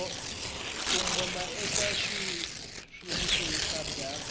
kongoma eka xitshuriwa kambe a